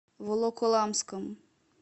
волоколамском